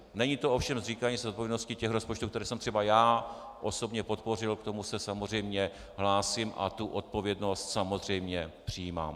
Není to ovšem zříkání se odpovědnosti těch rozpočtů, které jsem třeba já osobně podpořil, k tomu se samozřejmě hlásím a tu odpovědnost samozřejmě přijímám.